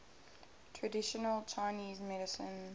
traditional chinese medicine